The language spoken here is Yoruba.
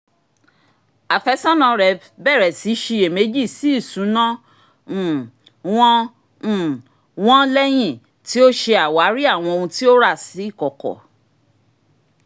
àfẹ́sọ́nà rẹ̀ bẹ̀rẹ̀ sí ṣiyèméjì sí ìṣúná um wọn um wọn leyin ti o se àwárí àwọn ohun tó rà sí ìkọ̀kọ̀